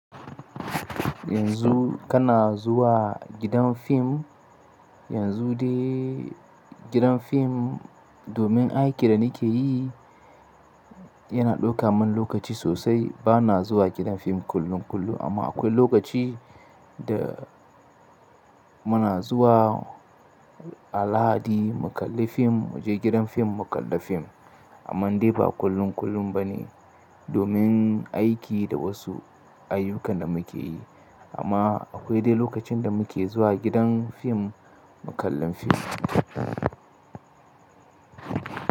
Yanzu kana zuwa gidan fim, yanzu dai gidan fim domin aikin da nike yi yana ɗauka min lokaci sosai. Bana zuwa gidan fim kullum kullum amma akwai lokaci da muna zuwa a lahadi mu kalli fim, mu je gidan fim mu kalla fim. Amman dai ba kullum kullum ba ne domin aiki da wasu ayyukan da muke yi. Amma akwai dai lokacin da muke zuwa gidan fim mu kallon fim.